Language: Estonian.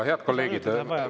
Head kolleegid!